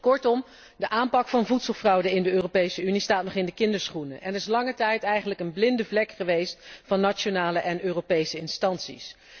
Kortom de aanpak van voedselfraude in de Europese Unie staat nog in de kinderschoenen en is lange tijd eigenlijk een blinde vlek geweest van nationale en Europese instanties.